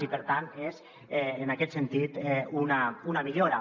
i per tant és en aquest sentit una millora